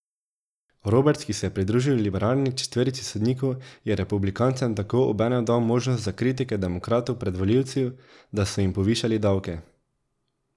Roberts, ki se je pridružil liberalni četverici sodnikov, je republikancem tako obenem dal možnost za kritike demokratov pred volivci, da so jim povišali davke.